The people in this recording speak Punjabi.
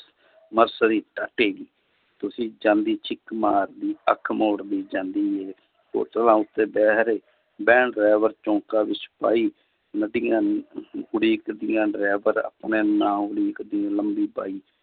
ਤੁਸੀਂ ਜਾਂਦੀ ਛਿੱਕ ਮਾਰਦੀ ਅੱਖ ਮੋੜਦੀ ਜਾਂਦੀ ਹੈ ਹੋਟਲਾਂ ਉੱਤੇ ਬਹਿਰੇ ਬਹਿਣ driver ਚੌਕਾਂ ਵਿੱਚ ਸਪਾਹੀ ਨਦੀਆਂ ਉਡੀਕਦੀਆਂ driver ਆਪਣੇ ਨਾਮ ਉਡੀਕਦੀ